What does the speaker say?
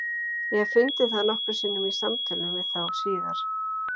Ég hef fundið það nokkrum sinnum í samtölum við þá síðar.